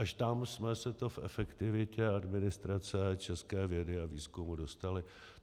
Až tam jsme se to v efektivitě administrace české vědy a výzkumu dostali.